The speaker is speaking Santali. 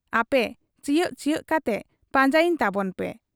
ᱟᱯᱮ ᱪᱤᱭᱟᱺᱵ ᱪᱤᱭᱟᱺᱵ ᱠᱟᱛᱮ ᱯᱟᱸᱡᱟᱭᱤᱧ ᱛᱟᱵᱚᱱ ᱯᱮ ᱾'